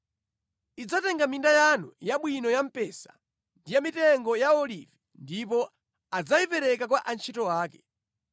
Idzatenga minda yanu yabwino ya mpesa ndi ya mitengo ya olivi ndipo adzayipereka kwa antchito ake.